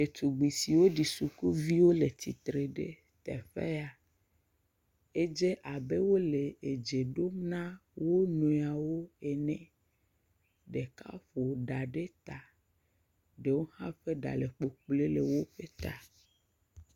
Ɖetugbi siwo ɖi sukuvi wole tsitre le teƒe ya. Edze abe wole dze ɖom na wonuiwo ene. Ɖeka ƒo ɖa ɖe ta. Ɖewo hã ƒe ɖa le kpokpoe le woƒe ta.